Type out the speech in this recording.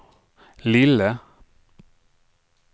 lille